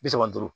Bi saba duuru